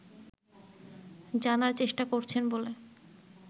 জানার চেষ্টা করছেন বলে